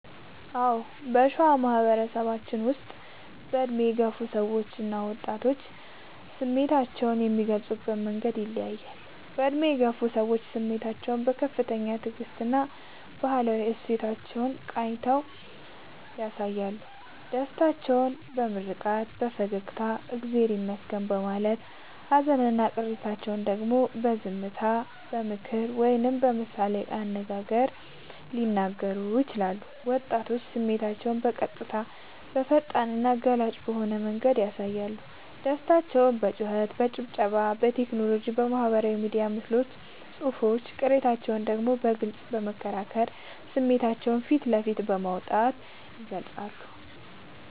አዎ: በሸዋ ማህበረሰባችን ውስጥ በዕድሜ የገፉ ሰዎችና ወጣቶች ስሜታቸውን የሚገልጹበት መንገድ ይለያያል፦ በዕድሜ የገፉ ሰዎች፦ ስሜታቸውን በከፍተኛ ትዕግስትና በባህላዊ እሴቶች ቃኝተው ያሳያሉ። ደስታቸውን በምርቃት፣ በፈገግታና «እግዚአብሔር ይመስገን» በማለት: ሃዘንና ቅሬታቸውን ደግሞ በዝምታ: በምክር ወይም በምሳሌ አነጋገር ሊነግሩን ይችላሉ። ወጣቶች፦ ስሜታቸውን በቀጥታ: በፈጣንና ገላጭ በሆነ መንገድ ያሳያሉ። ደስታቸውን በጩኸት: በጭብጨባ: በቴክኖሎጂ (በማህበራዊ ሚዲያ ምስሎችና ጽሑፎች): ቅሬታቸውን ደግሞ በግልጽ በመከራከርና ስሜታቸውን ፊት ለፊት በማውጣት ይገልጻሉ።